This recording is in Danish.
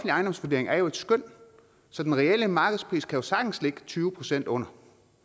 ejendomsvurdering er jo et skøn så den reelle markedspris kan jo sagtens ligge tyve procent under